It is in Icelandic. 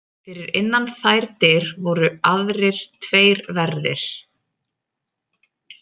Fyrir innan þær dyr voru aðrir tveir verðir.